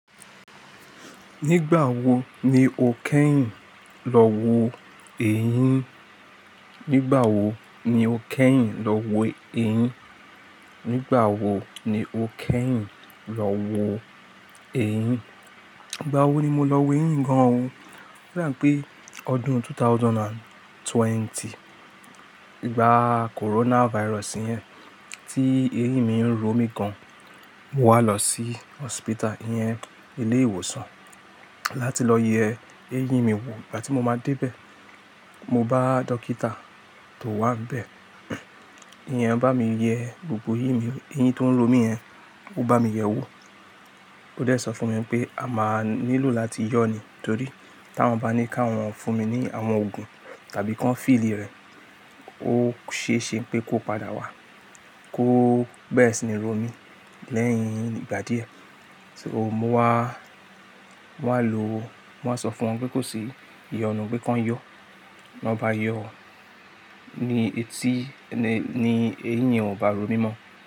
Nígbà wo ni o kẹ́yìn lọ wo eyín? Nígbà wo ni o kẹ́yìn lọ wo eyín? Nígbà wo ni o kẹ́yìn lọ wo eyín? Nígbà wo ni mo lọ wo eyín mi gan-an. Nígbà wo ni mo lọ wo eyín gan-an. Mo wá lọ sí hospital, iyẹn, ilé ìwòsàn láti lọ yẹ eeyín mi wò. Ìgbà tí mo máa dé bẹ́ẹ̀, mo bá dókítà tó waà n bẹ́ẹ̀, iyẹn bá mi yẹ gbogbo eyín mi, eyín tó ń ro mi yẹn, ó bá mi yẹ wò. Ó dẹ̀ sọ fún mi pé a máa nílò láti yọ̀ ni. Torí tí wọ́n bá ní ká wọ́n fún mi ní àwọn òògùn tàbí kí wọ́n fìlí rẹ̀, ó ṣe é ṣe pé kó padà wá kó bere sini rò mí lẹ́yìn ìgbà díẹ̀. So mo wá, mo wá lo, mo wá sọ fún wọn pé kó ṣi iyọ̀nu, pé kí wọ́n yọ̀. Wọn bá yọ̀ ọ́ ni etí ni, ni eyín yen ò bá ro mí mọ́.